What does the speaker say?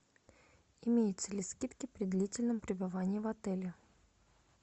имеются ли скидки при длительном пребывании в отеле